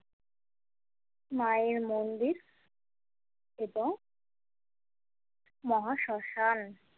মায়ের মন্দির এবং মহা শ্মশান।